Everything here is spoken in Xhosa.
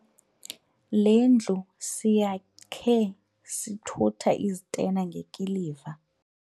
Le ndlu siyakhe sithutha izitena ngekiliva.